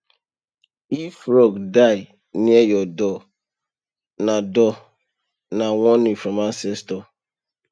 if frog die near your door na door na warning from ancestors